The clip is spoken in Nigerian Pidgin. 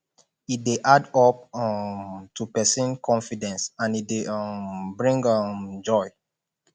e de add up um to persin confidence and e de um bring um joy